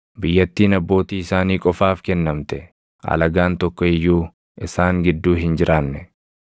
biyyattiin abbootii isaanii qofaaf kennamte; alagaan tokko iyyuu isaan gidduu hin jiraanne.